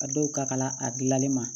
A dɔw ka kala a dilanni ma